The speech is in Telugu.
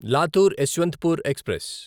లాతూర్ యశ్వంత్పూర్ ఎక్స్ప్రెస్